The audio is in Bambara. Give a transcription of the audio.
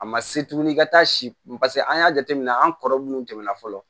A ma se tuguni i ka taa si paseke an y'a jateminɛ an kɔrɔ munnu tɛmɛna fɔlɔ